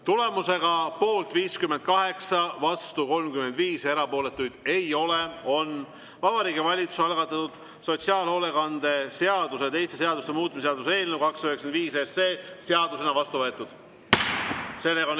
Tulemusega poolt 58, vastu 35, erapooletuid ei ole, on Vabariigi Valitsuse algatatud sotsiaalhoolekande seaduse ja teiste seaduste muutmise seaduse eelnõu 295 seadusena vastu võetud.